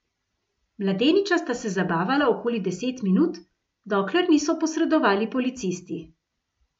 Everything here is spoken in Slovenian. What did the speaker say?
Mladeniča sta se zabavala okoli deset minut, dokler niso posredovali policisti.